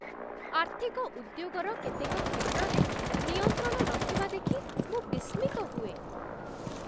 ଆର୍ଥିକ ଉଦ୍ୟୋଗର କେତେକ କ୍ଷେତ୍ରରେ ନିୟନ୍ତ୍ରଣ ନଥିବା ଦେଖି ମୁଁ ବିସ୍ମିତ ହୁଏ।